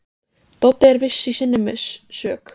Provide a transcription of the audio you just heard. Doddi er viss í sinni sök.